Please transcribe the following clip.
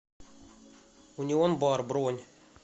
унион бар бронь